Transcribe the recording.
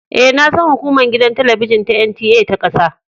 E, na san hukumar gidan talabijin ta NTA ta kasa.